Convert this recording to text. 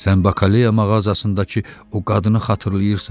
Sən bakaleya mağazasındakı o qadını xatırlayırsan?